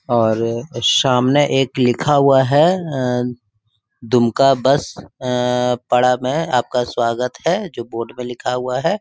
और सामने एक लिखा हुआ है अ दुमका बस अ पाड़ा है आपका स्वागत है जो बोर्ड पे लिखा हुआ है।